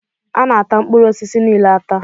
Ana ata mkpụrụ osisi niile ata